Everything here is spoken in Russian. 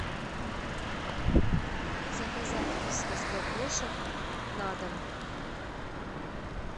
заказать вискас для кошек на дом